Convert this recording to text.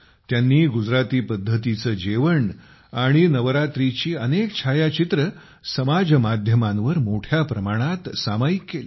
त्यांनी गुजराती पद्धतीचे जेवण आणि नवरात्रीची अनेक छायाचित्रे समाज माध्यमांवर मोठ्या प्रमाणात सामायिक केली